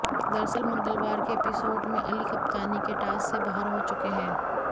दरअसल मंगलवार के एपिसोड में अली कप्तानी के टास्क से बाहर हो चुके हैं